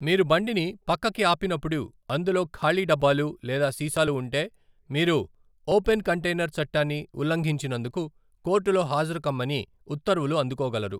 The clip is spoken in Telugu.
మీరు బండిని పక్కకి ఆపినప్పుడు, అందులో ఖాళీ డబ్బాలు లేదా సీసాలు ఉంటే, మీరు ఓపెన్ కంటైనర్ చట్టాన్ని ఉల్లంఘించినందుకు కోర్టులో హాజరుకమ్మని ఉత్తర్వులు అందుకోగలరు.